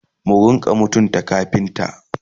mu rinka mutunta kafinta!